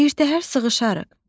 Birtəhər sığışarıq.